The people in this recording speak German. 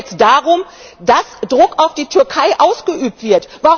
Es geht doch jetzt darum, dass Druck auf die Türkei ausgeübt wird.